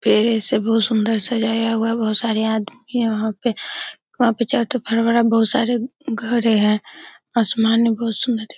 पेड़ ऐसे बोहोत सुन्दर सजाया हुआ है | बोहोत सारे आदमी वहां पे बोहोत सारे घर है | आसमान भी बोहोत सुन्दर दिख --